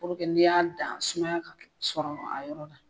n'i y'a dan sumaya ka sɔrɔ a yɔrɔ la.